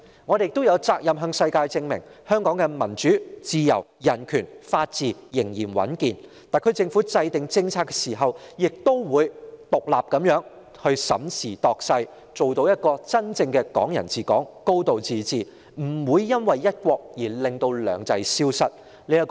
我們亦有責任向全球證明，香港的民主、自由、人權和法治仍然穩健，特區政府在制訂政策時仍會獨立地審時度勢，做到真正的"港人治港"和"高度自治"，不會因為"一國"而令"兩制"消失。